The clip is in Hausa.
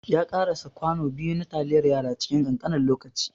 Ya ƙarasa kwano biyu na taliyar yara cikin ƙanƙanin lokaci.